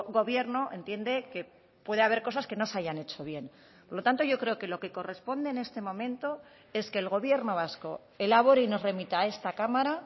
gobierno entiende que puede haber cosas que no se hayan hecho bien por lo tanto yo creo que lo que corresponde en este momento es que el gobierno vasco elabore y nos remita a esta cámara